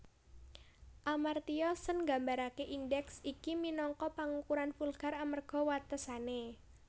Amartya Sen nggambaraké indèks iki minangka pangukuran vulgar amarga watesané